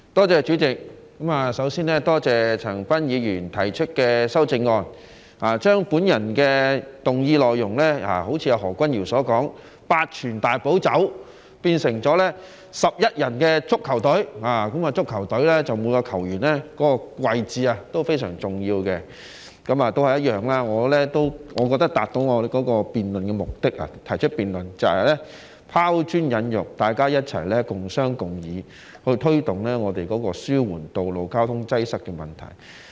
主席，首先，我多謝陳恒鑌議員提出修正案，正如何君堯議員所說，他將我的議案內容，由"八全大補酒"變成11人的足球隊，在足球隊之中，每一名球員的位置同樣非常重要，我認為這已達到我提出議案的目的，便是"拋磚引玉"，讓大家共商共議，推動紓緩道路交通擠塞的問題。